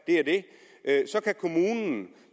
at så kan kommunen